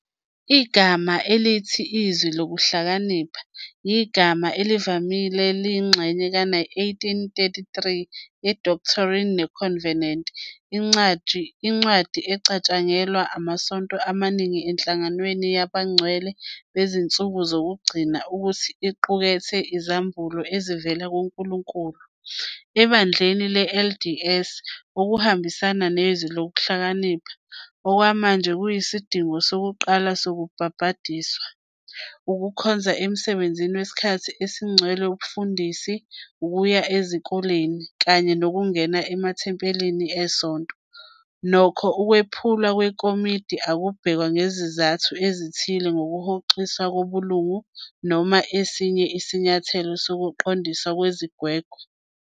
Igama elithi " Izwi Lokuhlakanipha " yigama elivamile lengxenye ka-1833 ye- Doctrine and Covenants, incwadi ecatshangelwa amasonto amaningi eNhlanganweni Yabangcwele Bezinsuku Zokugcina ukuthi iqukethe izambulo ezivela kuNkulunkulu. EBandleni le-LDS, ukuhambisana neZwi Lokuhlakanipha okwamanje kuyisidingo sokuqala sokubhapathizwa, ukukhonza emsebenzini wesikhathi esigcwele wobufundisi, ukuya ezikoleni, kanye nokungena emathempelini esonto, nokho, ukwephulwa kwekhodi akubhekwa njengezizathu zokuhoxiswa kobulungu noma esinye isinyathelo sokuqondiswa kwezigwegwe.